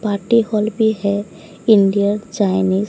party hall भी है Indian Chinese --